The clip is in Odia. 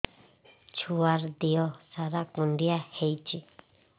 ଛୁଆର୍ ଦିହ ସାରା କୁଣ୍ଡିଆ ହେଇଚି